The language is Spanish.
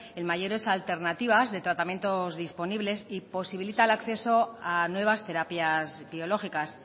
en mayores alternativas de tratamientos disponibles y posibilita el acceso a nuevas terapias biológicas